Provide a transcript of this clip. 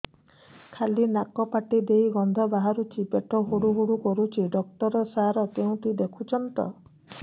ଖାଲି ନାକ ପାଟି ଦେଇ ଗଂଧ ବାହାରୁଛି ପେଟ ହୁଡ଼ୁ ହୁଡ଼ୁ କରୁଛି ଡକ୍ଟର ସାର କେଉଁଠି ଦେଖୁଛନ୍ତ